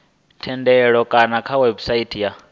thendelo kana kha website ya